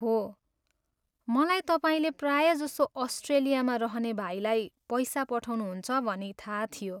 हो, मलाई तपाईँले प्रायजसो अस्ट्रेलियामा रहने भाइलाई पैसा पठाउनुहुन्छ भनी थाहा थियो।